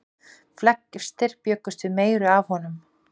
Flestir bjuggust við meiru af honum.